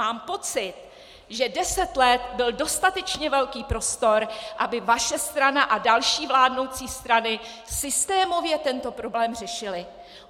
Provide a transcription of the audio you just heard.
Mám pocit, že deset let byl dostatečně velký prostor, aby vaše strana a další vládnoucí strany systémově tento problém řešily.